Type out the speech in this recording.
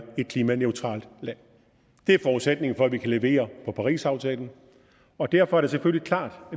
et klimaneutralt land det er forudsætningen for at vi kan levere på parisaftalen og derfor er det selvfølgelig klart